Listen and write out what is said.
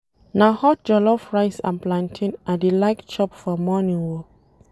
Na hot jollof rice and plantain I dey like chop for morning o.